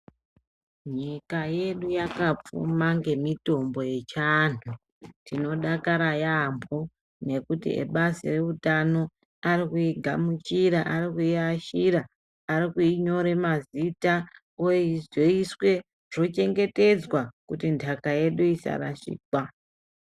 Nyika yedu yakapfuma ngemitombo yechianhu. Tinodakara yaampo ngekuti ebazi reutano ari kuigamuchira, ari kuiashira arikuinyore mazita oizoiswe zvochengetedzwa kuti ntaka yedu isarashikwa.